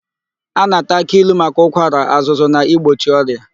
A na-ata aki ilu maka ụkwara, azụzụ na igbochi ọrịa.